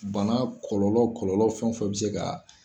Bana kɔlɔlɔ fɛn o fɛn bɛ se kaa.